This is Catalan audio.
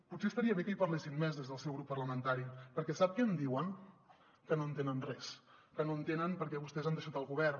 potser estaria bé que hi parlessin més des del seu grup parlamentari perquè sap què em diuen que no entenen res que no entenen per què vostès han deixat el govern